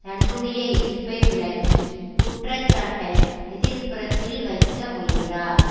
தன்னுடைய எதிர்ப்பை விளக்கி குற்ற சாட்டை எதிர் புறத்தில் வைக்க முயன்றார்